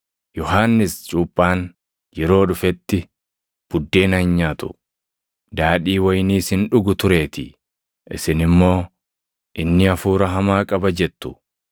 Yohannis cuuphaan yeroo dhufetti buddeena hin nyaatu, daadhii wayiniis hin dhugu tureetii; isin immoo, ‘Inni hafuura hamaa qaba’ jettu.